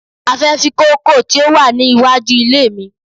A fẹ́ fí kóókò tí ó wà ní wájú ilé mi.